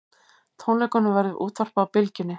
Tónleikunum verður útvarpað á Bylgjunni